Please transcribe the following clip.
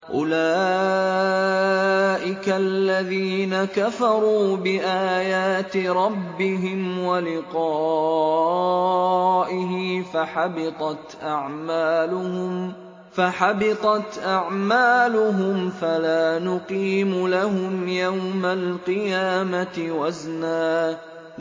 أُولَٰئِكَ الَّذِينَ كَفَرُوا بِآيَاتِ رَبِّهِمْ وَلِقَائِهِ فَحَبِطَتْ أَعْمَالُهُمْ فَلَا نُقِيمُ لَهُمْ يَوْمَ الْقِيَامَةِ وَزْنًا